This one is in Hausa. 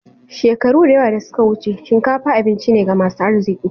Shekaru da yawa da suka wuce, shinkafa abinci ne ga masu arziki.